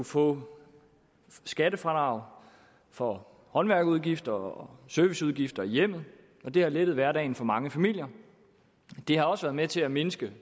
få skattefradrag for håndværkerudgifter og serviceudgifter i hjemmet og det har lettet hverdagen for mange familier det har også været med til at mindske